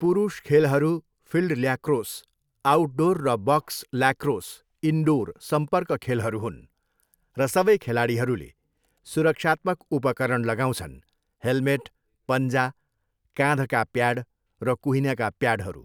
पुरुष खेलहरू, field lacrosse, outdoor र बक्स ल्याक्रोस, इनडोर, सम्पर्क खेलहरू हुन् र सबै खेलाडीहरूले सुरक्षात्मक उपकरण लगाउँछन्, हेलमेट, पन्जा, काँधका प्याड र कुहिनाका प्याडहरू।